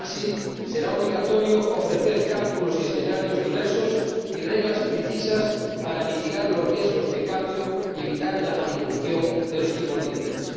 Así, será obligatorio ofrecer cálculos y escenarios diversos y reglas precisas para mitigar los riesgos de cambio y evitar la manipulación de los tipos de interés.